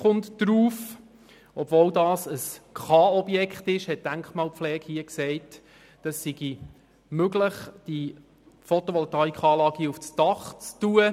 Obwohl es sich um ein kantonales Objekt (K-Objekt) handelt, befand die Denkmalpflege, es sei möglich, diese Anlage auf dem Dach zu montieren.